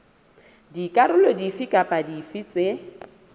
dikarolo dife kapa dife tse